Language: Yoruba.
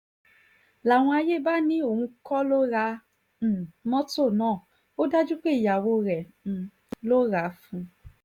làwọn àyè bá ní òun kọ́ ló ra um mọ́tò náà ó dájú pé ìyàwó rẹ̀ um ló rà á fún un